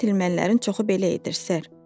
Gentlemenlərin çoxu belə edir, ser.